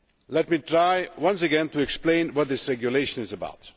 Let me try once again to explain what this regulation is about.